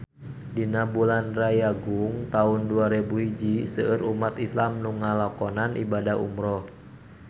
Dina bulan Rayagung taun dua rebu hiji seueur umat islam nu ngalakonan ibadah umrah